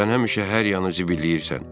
Sən həmişə hər yanı zibilləyirsən.